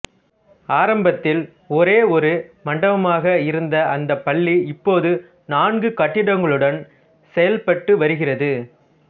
ஆரம்பத்தில் ஒரே ஒரு மண்டபமாக இருந்த அந்த பள்ளி இப்போது நான்கு கட்டிடங்களுடன் செயல்பட்டுவருகிறது